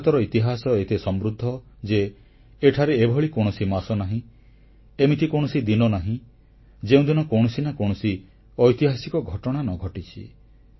ଭାରତର ଇତିହାସ ଏତେ ସମୃଦ୍ଧ ଯେ ଏଠାରେ ଏଭଳି କୌଣସି ମାସ ନାହିଁ ଏମିତି କୌଣସି ଦିନ ନାହିଁ ଯେଉଁଦିନ କୌଣସି ନା କୌଣସି ଐତିହାସିକ ଘଟଣା ନ ଘଟିଛି